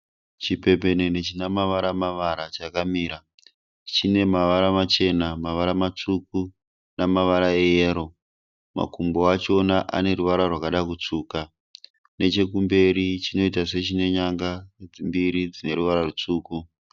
Chipembenene chine mavara mavara chakamira. Chine mavara machena, mavara matsvuku nemavara eyero. Makumbo achona ane ruvara rwakada kutsvuka. Nechekumberi chinoita sechine nyanga mbiri dzine ruvara rwutsvuku.